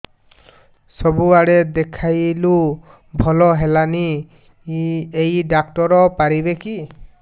ସବୁଆଡେ ଦେଖେଇଲୁ ଭଲ ହେଲାନି ଏଇ ଡ଼ାକ୍ତର ପାରିବେ କି